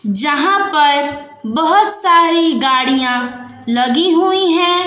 जहां पर बहोत सारी गाड़ियां लगी हुई है।